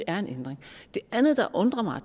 er en ændring det andet der undrer mig